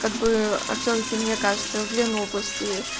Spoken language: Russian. как бы всё-таки мне кажется в ленобласти